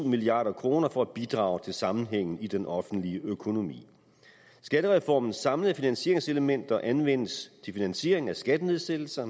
milliard kroner for at bidrage til sammenhængen i den offentlige økonomi skattereformens samlede finansieringselementer anvendes til finansiering af skattenedsættelser